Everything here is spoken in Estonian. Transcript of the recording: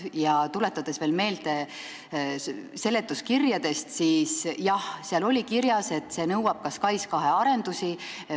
Ja seletuskirjades oli tõepoolest kirjas, et see nõuab ka SKAIS2 arendusi.